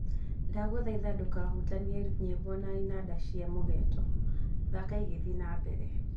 ndaguthaitha ndũkahutanie nyĩmbo na inanda cia mũgeeto, thaka igithii na mbere